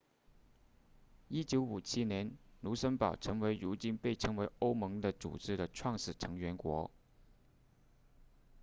1957年卢森堡成为如今被称为欧盟的组织的创始成员国